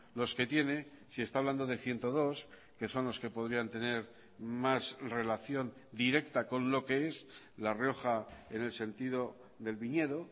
los que tiene si está hablando de ciento dos que son los que podrían tener más relación directa con lo que es la rioja en el sentido del viñedo